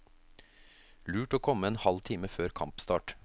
Lurt å komme en halv time før kampstart.